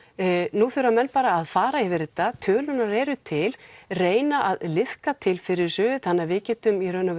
nú þurfa menn bara að fara yfir þetta tölurnar eru til reyna að liðka til fyrir þessu þannig að við getum í raun og